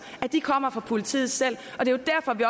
kommer fra politiet selv og det er derfor vi